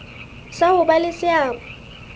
sa ho ba le seabo